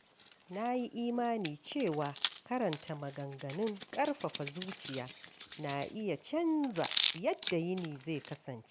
Na yi imani cewa karanta maganganun ƙarfafa zuciya na iya canza yadda yini zai kasance.